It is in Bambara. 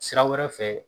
Sira wɛrɛ fɛ